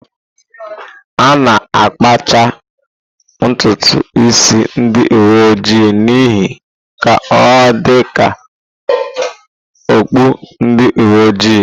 A na-akpacha ntutu isi ndị uwe ojii n'ihu ka ọ dị ka okpu ndi uwe ojii.